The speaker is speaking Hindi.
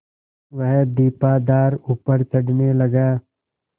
वह दीपाधार ऊपर चढ़ने लगा